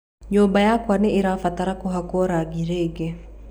Nyũmba yakwa nĩ ĩrabatara gũhakwo rangi rĩngĩ.